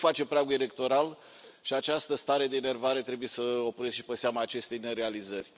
Nu face pragul electoral, și această stare de enervare trebuie să o puneți și pe seama acestei nerealizări.